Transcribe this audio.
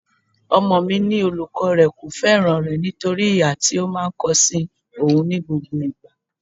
Ọmọ mi ní olùkọ́ rẹ kò fẹ́ràn rẹ nítorí ìhà tí ó máa ń kó sí oùn ní gbogbo ìgbà.